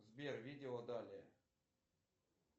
сбер видео далее